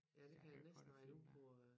De der Harry Potter-film dér